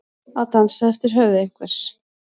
Að dansa eftir höfði einhvers